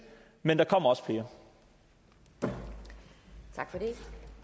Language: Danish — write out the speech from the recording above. men der kommer der